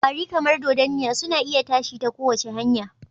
kwari, kamar dodanniya, suna iya tashi ta kowace hanya